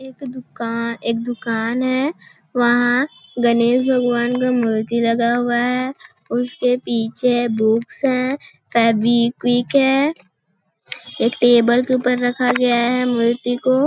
एक दुका एक दुकान है वहाँ गनेश भगवान का मूर्ति रखा हुआ है उसके पीछे बुक्स है फेविक्विक है एक टेबल के ऊपर रखा गया है मूर्ति को --